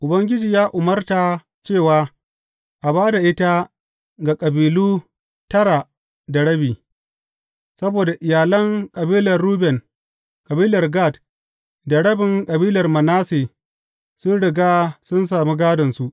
Ubangiji ya umarta cewa a ba da ita ga kabilu tara da rabi, saboda iyalan kabilar Ruben, kabilar Gad da rabin kabilar Manasse sun riga sun sami gādonsu.